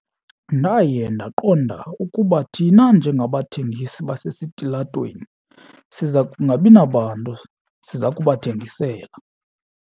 Ndaye ndaqonda ukuba thina njengabathengisi basesitilatweni siza kungabi nabantu siza kubathengisela.